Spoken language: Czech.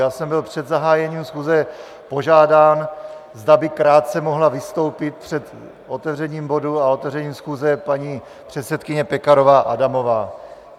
Já jsem byl před zahájením schůze požádán, zda by krátce mohla vystoupit před otevřením bodu a otevřením schůze paní předsedkyně Pekarová Adamová.